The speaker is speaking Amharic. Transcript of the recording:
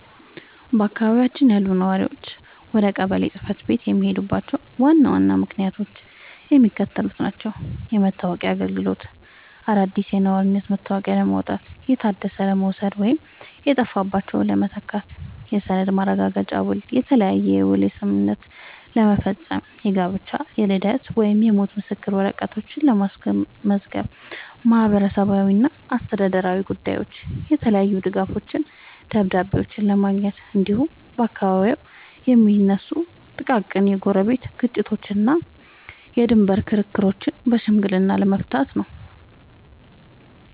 በአካባቢያችን ያሉ ነዋሪዎች ወደ ቀበሌ ጽሕፈት ቤት የሚሄዱባቸው ዋና ዋና ምክንያቶች የሚከተሉት ናቸው፦ የመታወቂያ አገልግሎት፦ አዲስ የነዋሪነት መታወቂያ ለማውጣት፣ የታደሰ ለመውሰድ ወይም የጠፋባቸውን ለመተካት። የሰነድ ማረጋገጫና ውል፦ የተለያየ የውል ስምምነቶችን ለመፈረም፣ የጋብቻ፣ የልደት ወይም የሞት ምስክር ወረቀቶችን ለማስመዝገብ። ማህበራዊና አስተዳደራዊ ጉዳዮች፦ የተለያዩ ድጋፎችንና ደብዳቤዎችን ለማግኘት፣ እንዲሁም በአካባቢው የሚነሱ ጥቃቅን የጎረቤት ግጭቶችንና የድንበር ክርክሮችን በሽምግልና ለመፍታት ነው።